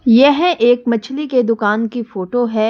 यह एक मछली के दुकान की फोटो है।